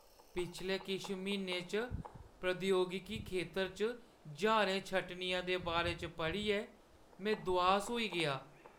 पिछले किश म्हीनें च प्रौद्योगिकी खेतर च ज्हारें छंटनियें दे बारे च पढ़ियै में दुआस होई गेआ।